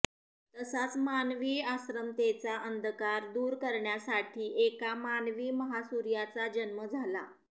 तसाच मानवी अश्रमतॆचा अंधकार दुर करण्यासाठी एका मानवी महासूर्याचा जन्म झाला